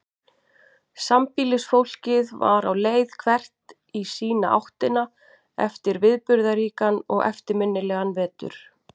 Sambýlisfólkið var á leið hvert í sína áttina eftir viðburðaríkan og eftirminnilegan vetur.